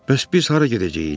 Bəs biz hara gedəcəyik?